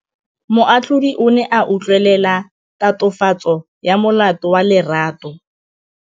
Moatlhodi o ne a utlwelela tatofatsô ya molato wa Lerato.